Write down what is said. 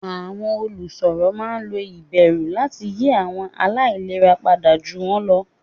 Àwọn olùsọ̀rọ̀ máa ń lo ìbẹ̀rù láti yí àwọn aláìlera padà ju wọn lọ.